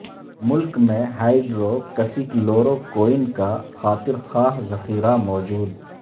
ملک میں hydroxychloroquine کا خاطر خواہ ذخیرہ موجود